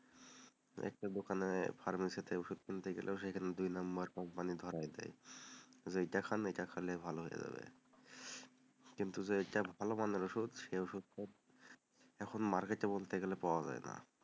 একটা দোকানে, ফার্মাসিতে ওষুধ কিনতে গেলেও সেখানে দুই নাম্বার কোম্পানি ধরিয়ে দেয়, এটা খান, এটা খেলেই ভালো হয়ে যাবে উহ কিন্তু যেটা ভালো মানের ওষুধ, সেই ওষুধটা এখন বলতে গেলে পাওয়া যায় না,